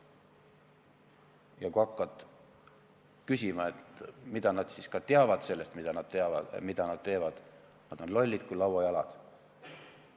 Ja kui hakkad küsima, mida nad ikkagi teavad sellest, mida nad teevad, siis nad on lollid kui lauajalad.